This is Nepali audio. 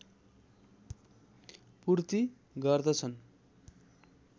पूर्ति गर्दछन्